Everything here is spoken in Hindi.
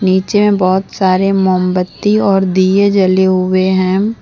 पीछे में बहुत सारे मोमबत्ती और दिए जले हुए हैं।